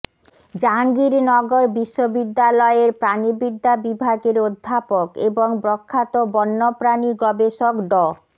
জাহাঙ্গীরনগর বিশ্ববিদ্যালয়ের প্রাণিবিদ্যা বিভাগের অধ্যাপক এবং প্রখ্যাত বন্যপ্রাণী গবেষক ড